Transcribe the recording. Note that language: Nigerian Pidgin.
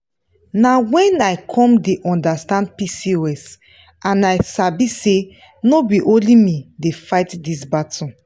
nah wen i come dey understand pcos and i sabi say no be only me dey fight this battle.